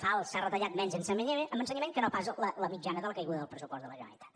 fals s’ha retallat menys en ensenyament que no pas la mitjana de la caiguda del pressupost de la generalitat